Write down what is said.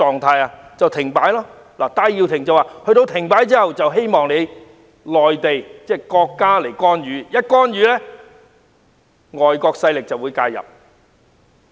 戴耀廷表示希望國家在香港停擺後作出干預，如此一來，外國勢力便會介入。